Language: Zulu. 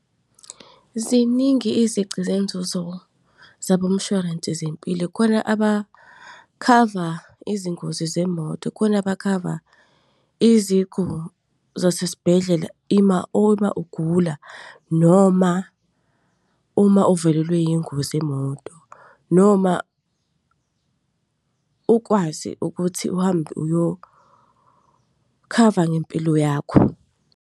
Ziningi izici zenzuzo zabomshwalense zempilo. Kukhona abakhava izingozi zemoto, kukhona bakhava iziguli zasesibhedlela uma ugula, noma uma uvelelwe yingozi yemoto. Noma ukwazi ukuthi uhambe uyokhava ngempilo yakho.